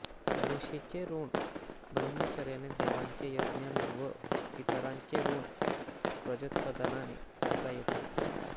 ऋषीचे ऋण ब्रह्मचर्याने देवांचे यज्ञाने व पितरांचे ऋण प्रजोत्पादनाने फेडता येते